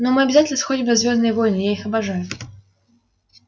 но мы обязательно сходим на звёздные войны я их обожаю